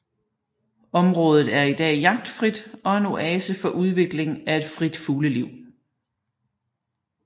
Området er i dag jagtfrit og en oase for udvikling af et frit fugleliv